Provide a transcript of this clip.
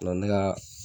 ne ka